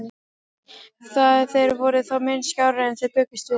Þær voru þó mun skárri en þeir bjuggust við.